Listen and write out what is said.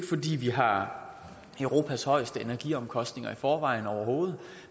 fordi vi har europas højeste energiomkostninger i forvejen overhovedet